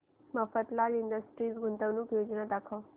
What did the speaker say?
Mafatlal industries गुंतवणूक योजना दाखव